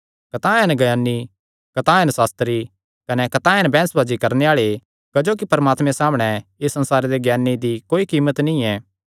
कतांह हन ज्ञानी कतांह हन सास्त्री कने कतांह हन बैंह्सबाजी करणे आल़े क्जोकि परमात्मे सामणै इस संसारे दे ज्ञाने दी कोई कीमत नीं ऐ